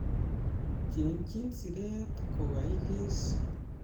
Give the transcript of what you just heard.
Chengji siret kokaikes